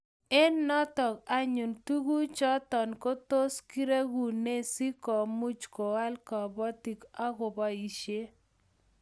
Eng' notok anyun tuguk chotok ko tos keregune si komuch koal kabatik akobaishe